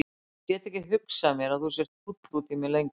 Ég get ekki hugsað mér að þú sért fúll út í mig lengur.